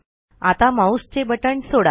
आता माऊसचे बटण सोडा